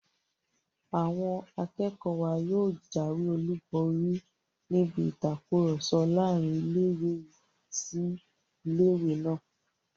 Àwọn akẹ́kọ̀ọ́ wa yóò jáwé olùborí níbi ìtakùrọ̀sọ láàrin ilé-ìwé sí ilé-ìwé náà